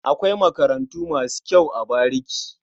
Akwai makarantu masu kyau a bariki.